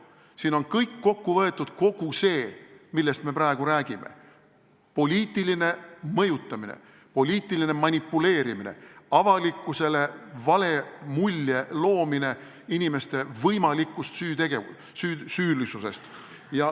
Siin on kõik kokku võetud – kõik see, millest me praegu räägime: poliitiline mõjutamine, poliitiline manipuleerimine, avalikkusele vale mulje loomine inimeste võimalikust süüst.